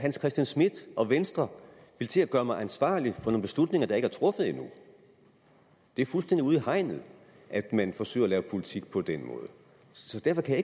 hans christian schmidt og venstre vil til at gøre mig ansvarlig for nogle beslutninger der ikke er truffet endnu det er fuldstændig ude i hegnet at man forsøger at lave politik på den måde så derfor kan